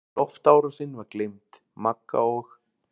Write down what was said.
Loftárásin var gleymd, Magga og